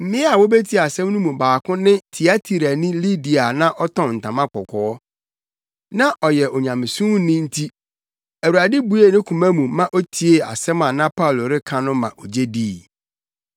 Mmea a wobetiee asɛm no mu baako ne Tiatirani Lidia a na ɔtɔn ntama kɔkɔɔ. Na ɔyɛ Onyamesomni nti Awurade buee ne koma mu ma otiee asɛm a na Paulo reka no ma ogye dii.